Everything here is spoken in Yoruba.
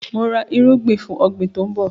Mò ra erúgbin fún ọ̀gbín tòun bọ̀